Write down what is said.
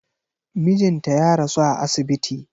Mijinta ya rasu a asibiti.